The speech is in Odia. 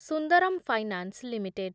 Sundaram finance limited